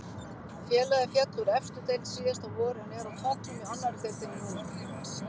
Félagið féll úr efstu deild síðasta vor en er á toppnum í annari deildinni núna.